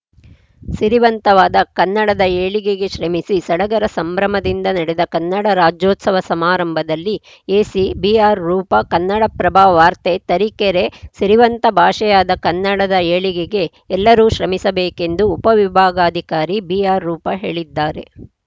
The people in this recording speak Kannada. ಸಿರಿವಂತವಾದ ಕನ್ನಡದ ಏಳಿಗೆಗೆ ಶ್ರಮಿಸಿ ಸಡಗರ ಸಂಭ್ರಮದಿಂದ ನಡೆದ ಕನ್ನಡ ರಾಜ್ಯೋತ್ಸವ ಸಮಾರಂಭದಲ್ಲಿ ಎಸಿ ಬಿಆರ್‌ರೂಪಾ ಕನ್ನಡಪ್ರಭ ವಾರ್ತೆ ತರೀಕೆರೆ ಸಿರಿವಂತ ಭಾಷೆಯಾದ ಕನ್ನಡದ ಏಳಿಗೆಗೆ ಎಲ್ಲರೂ ಶ್ರಮಿಸಬೇಕೆಂದು ಉಪವಿಭಾಗಾಧಿಕಾರಿ ಬಿಆರ್‌ರೂಪಾ ಹೇಳಿದ್ದಾರೆ